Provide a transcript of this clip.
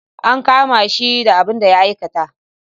An kama shi da abin da ya aikata.